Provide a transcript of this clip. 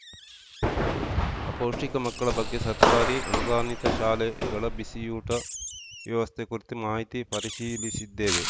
ಅಪೌಷ್ಠಿಕ ಮಕ್ಕಳ ಬಗ್ಗೆ ಸರ್ಕಾರಿ ಅನುದಾನಿತ ಶಾಲೆಗಳ ಬಿಸಿಯೂಟ ವ್ಯವಸ್ಥೆ ಕುರಿತು ಮಾಹಿತಿ ಪರಿಶೀಲಿಸಿದ್ದೇವೆ